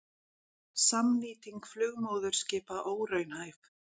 Samnýting flugmóðurskipa óraunhæf